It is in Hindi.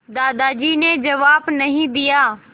दादाजी ने जवाब नहीं दिया